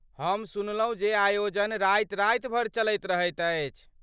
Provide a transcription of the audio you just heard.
हम सुनलहुँ जे आयोजन राति राति भरि चलैत रहैत अछि।